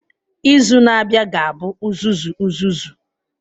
Izu na-abịa ga-abụ uzuzu uzuzu.